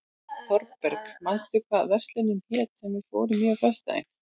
Þorberg, manstu hvað verslunin hét sem við fórum í á föstudaginn?